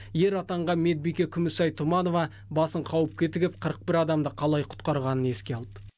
ер атанған медбике күмісай тұманова басын қауіпке тігіп қырық бір адамды қалай құтқарғанын еске алды